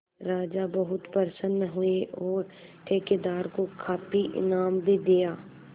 राजा बहुत प्रसन्न हुए और ठेकेदार को काफी इनाम भी दिया